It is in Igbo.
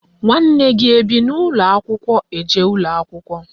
Nwanne gị ebi n'ụlọakwụkwọ eje akwụkwọ?